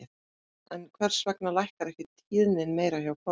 En hvers vegna lækkar ekki tíðnin meira hjá konum?